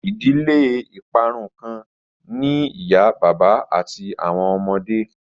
Idile iparun kan ni iya baba ati awọn ọmọde